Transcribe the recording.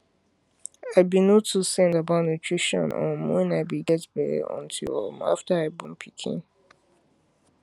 i be no too send about nutrition um when i be get belle until um after i born pikin